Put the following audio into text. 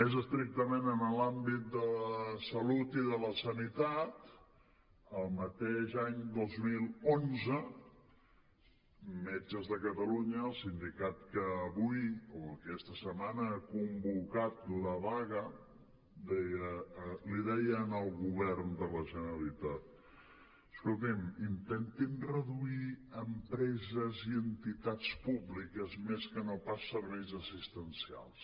més estrictament en l’àmbit de la salut i de la sanitat el mateix any dos mil onze metges de catalunya el sindicat que avui o aquesta setmana ha convocat la vaga li deia al govern de la generalitat escolti’m intentin reduir empreses i entitats públiques més que no pas serveis assistencials